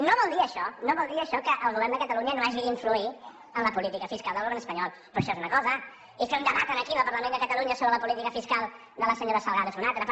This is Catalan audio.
no vol dir això no vol dir això que el govern de catalunya no hagi d’influir en la política fiscal del govern espanyol però això és una cosa i fer un debat aquí al parlament de catalunya sobre la política fiscal de la senyora salgado n’és una altra